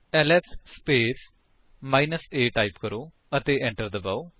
LS space minus a type ਕਰੋ ਅਤੇ enter ਦਬਾਓ